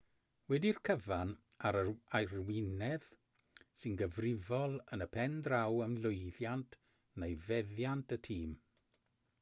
wedi'r cyfan yr arweinydd sy'n gyfrifol yn y pen draw am lwyddiant neu fethiant y tîm